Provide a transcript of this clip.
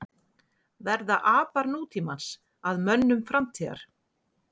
Verða apar nútímans að mönnum framtíðar?